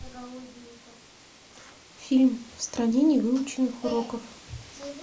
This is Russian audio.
фильм в стране невыученных уроков